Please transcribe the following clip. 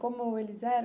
Como eles eram?